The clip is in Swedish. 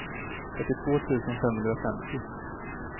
fyrtiotvå tusen femhundrafemtio